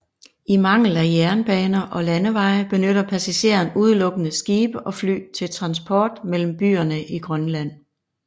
I mangel af jernbaner og landeveje benytter passagerer udelukkende skibe og fly til transport mellem byerne i Grønland